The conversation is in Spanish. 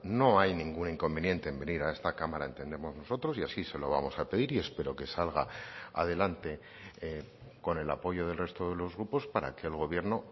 no hay ningún inconveniente en venir a esta cámara entendemos nosotros y así se lo vamos a pedir y espero que salga adelante con el apoyo del resto de los grupos para que el gobierno